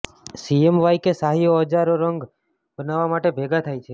CMYK શાહીઓ હજારો રંગો બનાવવા માટે ભેગા થાય છે